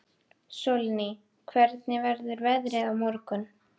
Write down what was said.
Sólný, hvernig verður veðrið á morgun?